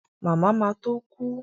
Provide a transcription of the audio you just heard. Màmá ma tó kú